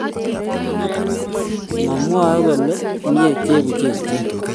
mamwae kole mei chebuchechet